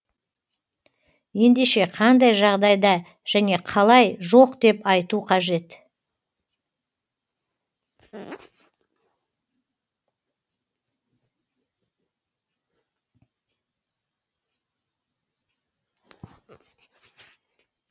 ендеше қандай жағдайда және қалай жоқ деп айту қажет